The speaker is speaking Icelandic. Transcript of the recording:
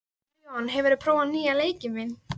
Maríon, hefur þú prófað nýja leikinn?